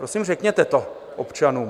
Prosím, řekněte to občanům.